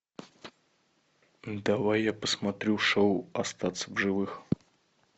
давай я посмотрю шоу остаться в живых